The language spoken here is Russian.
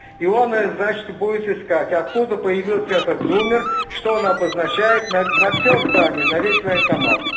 и он значит будет искать откуда появился этот зумер что он обозначает на всё здание на весь военкомат